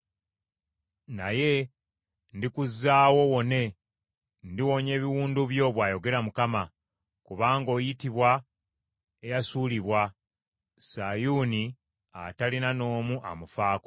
Naye ndikuzzaawo owone, ndiwonya ebiwundu byo,’ bw’ayogera Mukama , ‘kubanga oyitibwa eyasuulibwa, Sayuuni atalina n’omu amufaako.’